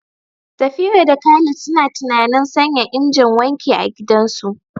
Safira da Khalid suna tunanin sanya injin wanki a gidansu.